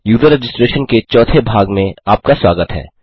user registration के चौथे भाग में आपका स्वागत है